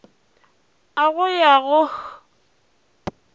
a go ya go h